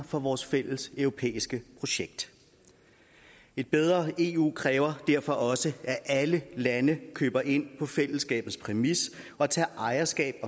for vores fælleseuropæiske projekt et bedre eu kræver derfor også at alle lande køber ind på fællesskabets præmis og tager ejerskab